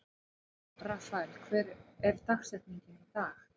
Rafael, hver er dagsetningin í dag?